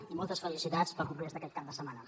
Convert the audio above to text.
i moltes felicitats pel congrés d’aquest cap de setmana